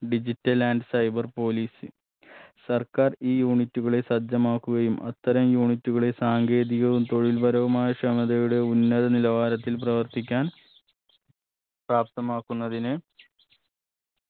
digital and cyber police സർക്കാർ ഈ unit കളെ സജ്ജമാക്കുകയും അത്തരം unit കളെ സാങ്കേതികവും തൊഴില്പരവുമായ ക്ഷമതയുടെ ഉന്നത നിലവാരത്തിൽ പ്രവർത്തിക്കാൻ പ്രാപ്തമാക്കുന്നതിന്